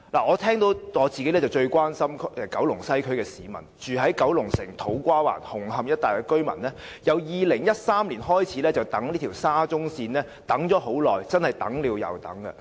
我最關心九龍西區的市民，住在九龍城、土瓜灣、紅磡一帶的居民由2013年開始等待沙中線，真的是等了又等。